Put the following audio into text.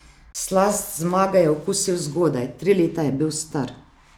Slast zmage je okusil zgodaj, tri leta je bil star.